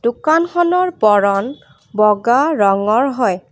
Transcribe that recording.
দোকানখনৰ বৰণ বগা ৰঙৰ হয়।